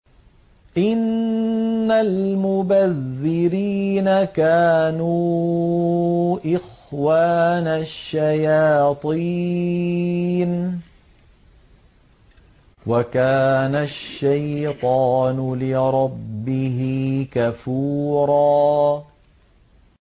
إِنَّ الْمُبَذِّرِينَ كَانُوا إِخْوَانَ الشَّيَاطِينِ ۖ وَكَانَ الشَّيْطَانُ لِرَبِّهِ كَفُورًا